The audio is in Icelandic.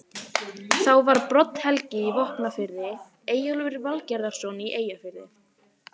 Þá var Brodd-Helgi í Vopnafirði, Eyjólfur Valgerðarson í Eyjafirði